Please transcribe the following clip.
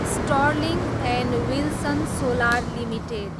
sterling and Wilson Solar limited